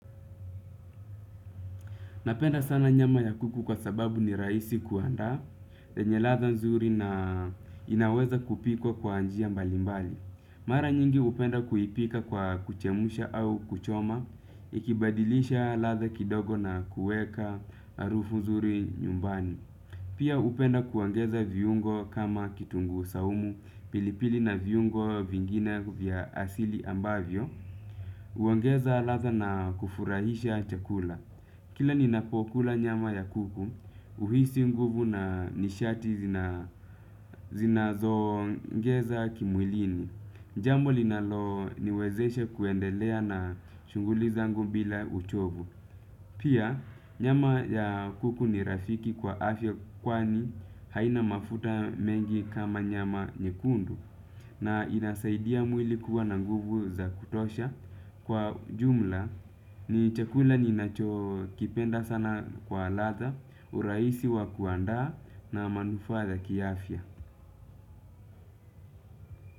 Napenda sana nyama ya kuku kwa sababu ni rahisi kuandaa, yenye ladha nzuri na inaweza kupikwa kwa njia mbalimbali. Mara nyingi hupenda kuipika kwa kuchemsha au kuchoma, ikibadilisha ladha kidogo na kuweka harufu nzuri nyumbani. Pia upenda kuongeza viungo kama kitunguu saumu, pilipili na viungo vingine vya asili ambavyo. Uangeza latha na kufurahisha chakula. Kila ni napokula nyama ya kuku uhisi nguvu na nishati zinazo ongeza kimwilini jambo linalo niwezesha kuendelea na shughuli zangu bila uchovu. Pia nyama ya kuku ni rafiki kwa afya kwani haina mafuta mengi kama nyama nyekundu na inasaidia mwili kuwa na nguvu za kutosha kwa jumla ni chakula ni nacho kipenda sana kwa ladha. Urahisi wa kuandaa na manufaa za kiafya.